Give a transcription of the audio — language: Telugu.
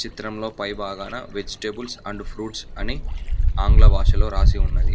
చిత్రంలో పై భాగాన వెజిటేబుల్స్ అండ్ ఫ్రూట్స్ అని ఆంగ్ల భాషలో రాసి ఉన్నది.